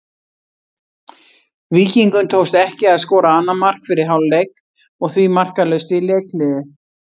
Víkingum tókst ekki að skora annað mark fyrir hálfleik og því markalaust í leikhléi.